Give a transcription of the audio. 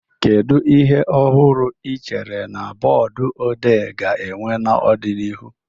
Kedu ihe ọhụrụ ị chere na booduodee ga-enwe n'ọdịnihu?